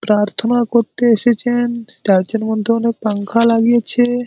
প্রার্থনা করতে এসেছেন চার্চ -এর মধ্যে অনেক পাঙ্খা লাগিয়েছে।